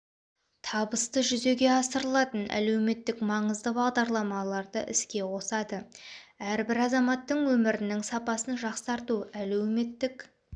табысты жүзеге асырылатын әлеуметтік маңызды бағдарламаларды іске қосады әрбір азаматтың өмірінің сапасын жақсарту әлеуметтік